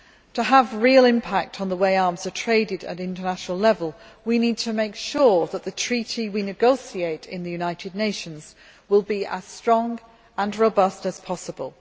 To have real impact on the way arms are traded at international level, we need to make sure that the treaty we negotiate in the United Nations will be as strong and robust as possible.